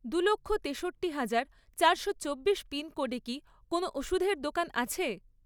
দুলক্ষ , তেষট্টি হাজার, চারশো চব্বিশ পিনকোডে কি কোনও ওষুধের দোকান আছে?